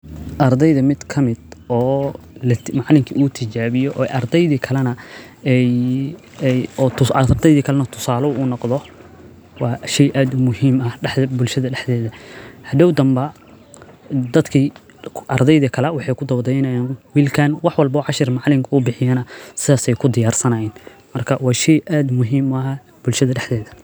Ardayda mid ka mida oo la macalinka u tijaabiyo ardaydii kallana ayee ay oo ardaydi kallana tusaalo uu noqdo waa shi aad muhiim ah dhaxda bulshada dhexdeeda. Hadho danba dadkii ardaydi kala waxaa ku dogday inaan wilkaan wax walbo cashar macalinka uu bixiyaan saas ay ku diyaarsanaayn. Marka waa shi aad muhiim ah bulshada dhexdeeda.